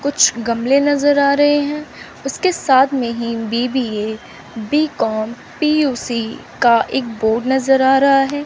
कुछ गमले नजर आ रहे हैं उसके साथ में ही बी_बी_ए बी कॉम पी_यू_सी का एक बोर्ड नजर आ रहा हैं।